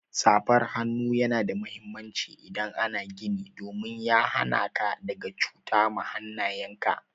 Safar hannu Yana da muhimmanci idan ana gini domin ya hana ka daga cuta ma hannayen ka.